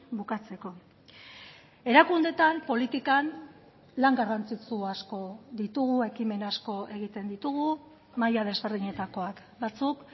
bukatzeko erakundeetan politikan lan garrantzitsu asko ditugu ekimen asko egiten ditugu maila desberdinetakoak batzuk